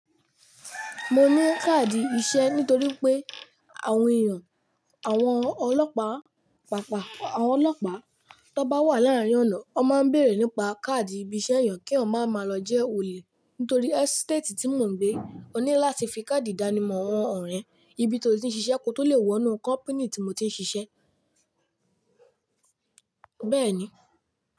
Mo mú káàdì iṣẹ́ nítorí pé àwọn èèyàn, àwọn ọlọ́pa pàápàá àwọn ọlọ́pa tó bá wà láàárín ọ̀nà, wọ́n máa ń bèrè nípa káàdì ibi iṣẹ́ èèyàn kí wọ́n máa ma lọ jẹ́ olè. Nítorí ẹ́sítétì tí mò ń gbé ò ní láti fi káàdì ìdánimọ̀ wọn ọ̀rẹ́ ibi tó ti ń ṣiṣẹ́ kó tó le wọ inú kọ́pínì tí mo ti ń ṣiṣẹ́. Bẹ́ẹ̀ ni.